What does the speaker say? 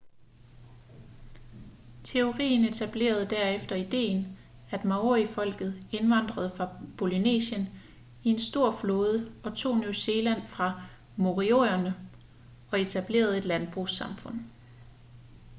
teorien etablerede derefter ideen at maorifolket indvandrede fra polynesien i en stor flåde og tog new zealand fra moriorierne og etablerede et landbrugssamfund